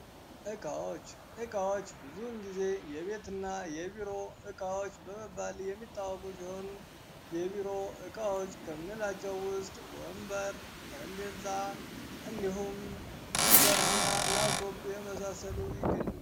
እቃዎች እቃዎች ብዙውን ጊዜ የቤትና የቢሮ እቃወች በመባል የሚታወቁ ሲሆን። የቢሮ እቃዎች ከምንላቸው ውስጥ ወንበር፣ ጠረጴዛ እንዲሁም ኮምፒውተር፣ ላፕቶፕ እና የመሳሰሉት ይገኙበታል።